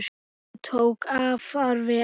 Hún tókst afar vel.